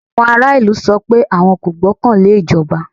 Àwọn ará ìlú sọ pé àwọn kò gbọ́kàn lé ìjọba.